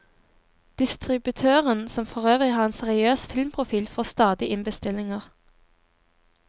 Distributøren, som forøvrig har en seriøs filmprofil, får stadig inn bestillinger.